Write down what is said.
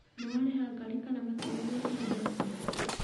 Nĩwarĩha ngarĩ kana matinagwĩtia mbeca?